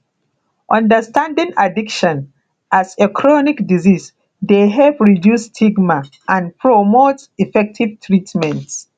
understanding addiction as a chronic disease dey help reduce stigma and promote effective treatment